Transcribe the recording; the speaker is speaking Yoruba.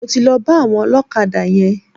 Mo ti lọ bá àwọn ọlọ́kadà yẹn.